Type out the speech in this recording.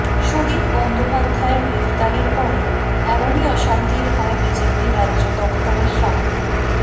সুদীপ বন্দ্যোপাধ্যায়ের গ্রেফতারির পরে এমনই অশান্তির হয় বিজেপি রাজ্য দফতরের সামনে